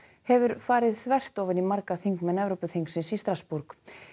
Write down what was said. hefur farið þvert ofan í marga þingmenn Evrópuþingsins í Strassborg